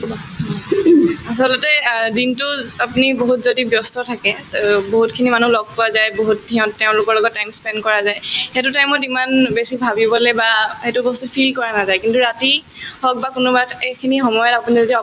আচলতে অ দিনতোত আপুনি বহুত যদি ব্যস্ত থাকে বহুতখিনি মানুহক লগ পোৱা যায় বহুত সিহঁত তেওঁলোকৰ লগত time spend কৰা যায় সেইটো time ত ইমান বেছি ভাবিবলে বা সেইটো বস্তু feel কৰা নাযায় কিন্তু ৰাতি হওক বা কোনোবা এটা এইখিনি সময়ত আপুনি যদি